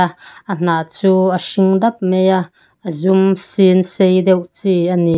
ah a hna chu a hring dap mai a a zum sin sei deuh chi a ni.